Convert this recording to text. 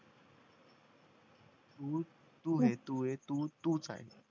तू ये तू ये तू ये तू तूच आहेस